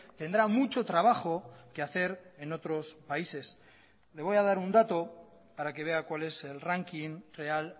tendrá mucho trabajo que hacer en otros países le voy a dar un dato para que vea cuál es el ranking real